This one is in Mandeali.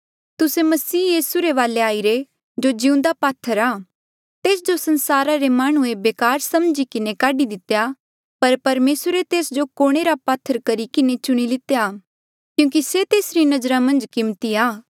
तुस्से यीसू मसीह रे वाले आईरे जो जिउंदा पात्थर आ तेस जो संसारा रे माह्णुंऐ बेकार समझी किन्हें काढी दितेया पर परमेसरे तेस जो कोणे रा पात्थर करी किन्हें चुणी लितेया क्यूंकि से तेसरी नजरा मन्झ कीमती आ